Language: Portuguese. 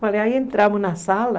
Falei, aí entramos na sala.